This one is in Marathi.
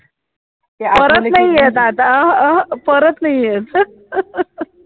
परत नाही येत आता, परत नाही येत